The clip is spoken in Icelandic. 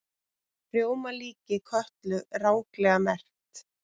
Rjómalíki Kötlu ranglega merkt